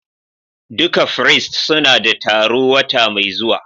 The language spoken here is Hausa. Duka firist suna da taro wata mai zuwa.